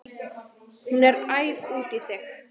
Hún er æf út í þig.